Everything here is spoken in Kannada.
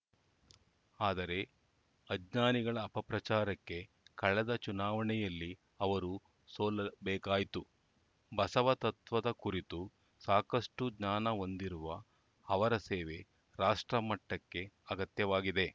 ಆದರೆ ಅಜ್ಞಾನಿಗಳ ಅಪಪ್ರಚಾರಕ್ಕೆ ಕಳೆದ ಚುನಾವಣೆಯಲ್ಲಿ ಅವರು ಸೋಲಬೇಕಾಯಿತು ಬಸವ ತತ್ವದ ಕುರಿತು ಸಾಕಷ್ಟುಜ್ಞಾನ ಹೊಂದಿರುವ ಅವರ ಸೇವೆ ರಾಷ್ಟ್ರ ಮಟ್ಟಕ್ಕೆ ಅಗತ್ಯವಾಗಿದೆ